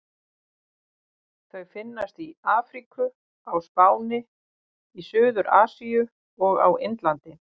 Þau finnast í Afríku, á Spáni, í Suður-Asíu og á Indlandi.